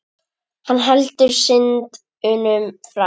Hann heldur synd unum frá.